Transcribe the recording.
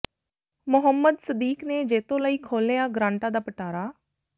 ਮੁਹੰਮਦ ਸਦੀਕ ਨੇ ਜੈਤੋ ਲਈ ਖੋਲਿ੍ਹਆ ਗਰਾਂਟਾਂ ਦਾ ਪਿਟਾਰਾ